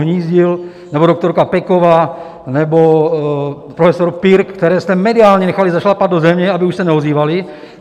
Hnízdil nebo doktorka Peková nebo profesor Pirk, které jste mediálně nechali zašlapat do země, aby už se neozývali.